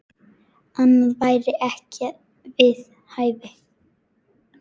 Annað væri ekki við hæfi.